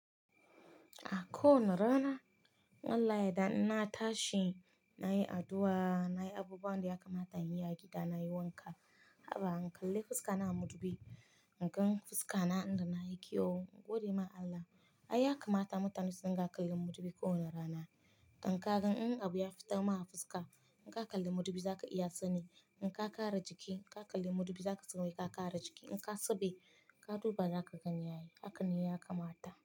A kowani rana wallahi da ina tashi nayi addu'a, nayi abubuwan da ya kamata in yi a gida nayi wanka. Haba in kalle fuska na a mudubi, in gan fuska na inda na yi kyau, godiya ma Allah. Ai ya kamata mutane suna kallon mudubi kowane rana. In ka gan wani abu ya fita ma fuska, in ka kalle mudubi za ka iya sani. In ka kara jiki, ka kalle mudubi za ka san wai ka kara jiki. In ka saba, ka duba za ka gani yayi. Haka ne ya kamata.